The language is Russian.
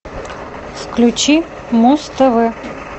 включи муз тв